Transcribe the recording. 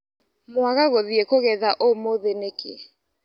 Mwaga gũthiĩ kũgetha ũmũthĩ nĩkĩ.